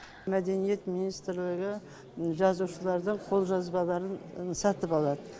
мәдениет министрлігі жазушылардың қолжазбаларын сатып алады